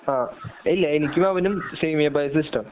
ആ ഇല്ല എനിക്കും അവനും സേമിയ പായസ ഇഷ്ടം.